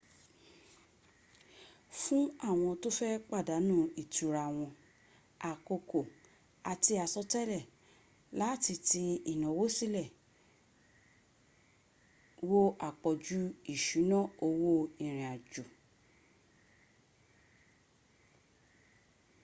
fún àwọn tó fẹ́ pàdánù ìtura wọn àkókò àti àsọtẹlẹ̀ láti ti ìnáwó sílẹ̀ wo àpọ̀jù ìṣúná owó ìrìn àjò